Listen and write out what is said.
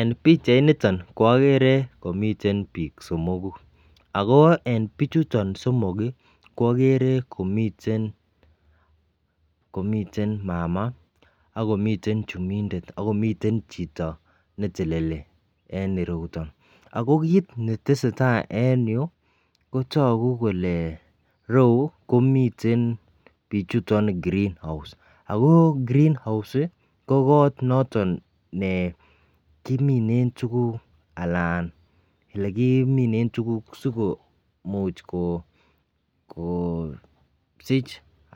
En pichainiton ko okere komiten bik somoku ako en pichuton somok ko okere komiten komiten mama ak komiten chumindet ak komiten chito neteleli en ireyuton. Ako kit netesetai en yuu kotoku kole rou komiten pichuton green house ako green house ko kot noton nekimine tukuk alan lekimine tukuk sikomuch ko kosich